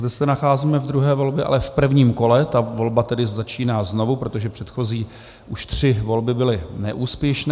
Zde se nacházíme ve druhé volbě, ale v prvním kole, ta volba tedy začíná znovu, protože předchozí už tři volby byly neúspěšné.